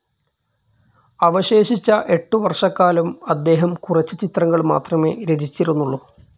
അവശേഷിച്ച എട്ടു വർഷക്കാലം അദ്ദേഹം കുറച്ച് ചിത്രങ്ങൾ മാത്രമേ രചിച്ചിരുന്നുള്ളൂ.